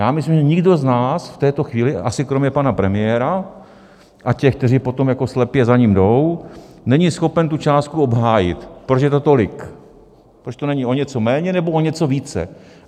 Já myslím, že nikdo z nás v této chvíli - asi kromě pana premiéra a těch, kteří potom jako slepě za ním jdou - není schopen tu částku obhájit, proč je to tolik, proč to není o něco méně nebo o něco více.